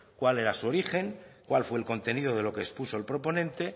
cuál era su origen cuál fue el contenido de lo que expuso el proponente